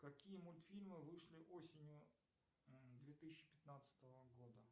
какие мультфильмы вышли осенью две тысячи пятнадцатого года